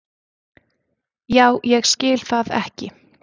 já ég skil það ekki